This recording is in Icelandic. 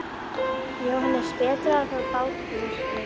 JÓHANNES: Betra að fara á bát út í myrkrið.